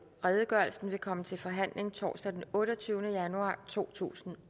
redegørelsen vil komme til forhandling torsdag den otteogtyvende januar totusinde